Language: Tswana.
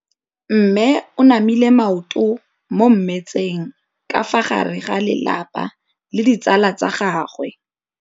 Mme o namile maoto mo mmetseng ka fa gare ga lelapa le ditsala tsa gagwe.